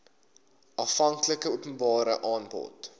aanvanklike openbare aanbod